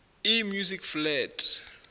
e music flat